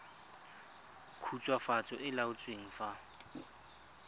khutswafatso e e laotsweng fa